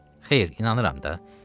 Xeyr, inanıram da.